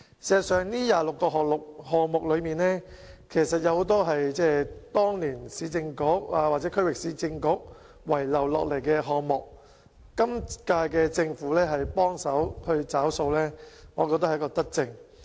事實上，這26個項目之中，很多是當年市政局或區域市政局遺留下來的項目，今屆政府幫忙"找數"，我認為是一項德政。